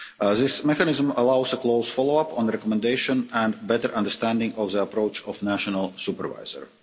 This mechanism allows a close follow-up on the recommendation and better understanding of the approach of the national supervisor.